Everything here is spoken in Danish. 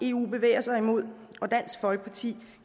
eu bevæger sig i og dansk folkeparti